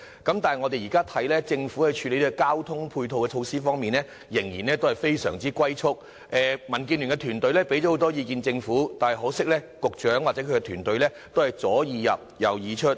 但是，據我們現在所見，政府在處理交通措施配套方面，仍然非常"龜速"，民建聯團隊向政府提供了很多意見，可惜局長或其團隊都是"左耳入，右耳出"。